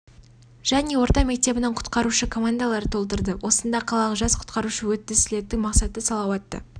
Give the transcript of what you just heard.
және орта мектебінің құтқарушы командалары толтырды осында қалалық жас құтқарушы өтті слеттің мақсаты салауатты